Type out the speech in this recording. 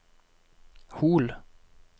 Hol